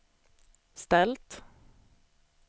ställt